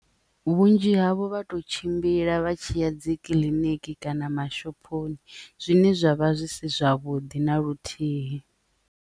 Vhunzhi havho vha to tshimbila vha tshi ya dzi kiḽiniki kana mashophoni zwine zwavha zwi si zwavhuḓi na luthihi.